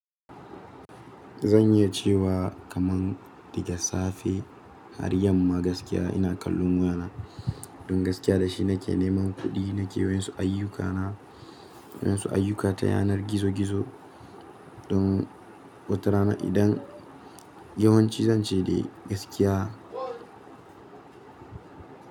Zan iya cewa kaman daga safe har yamma gaskiya ina kallon wayana. Don gaskiya da shi nake neman kuɗi, nake yin su ayyukana, yin su ayyuka ta yanar gizo gizo. Don wata rana idan yawanci zan ce dai gaskiya.